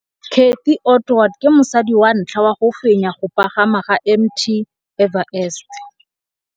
Cathy Odowd ke mosadi wa ntlha wa go fenya go pagama ga Mt Everest.